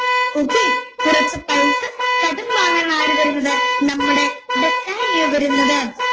okay കുറച്ചു പൈസ കടം വാങ്ങാൻ ആണ് ആര് വരുന്നത് നമ്മുടെ ബസാനിയോ വരുന്നത്